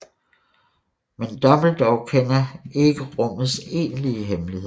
Men Dumbledore kender ikke rummets egentligt hemmelighed